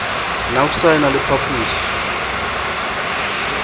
nafvsa e na le phaposi